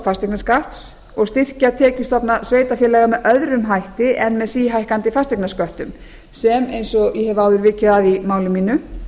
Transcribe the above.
fasteignaskatts og styrkja tekjustofna sveitarfélaga með öðrum hætti en með síhækkandi fasteignasköttum sem eins og ég hef áður vikið að í máli mínu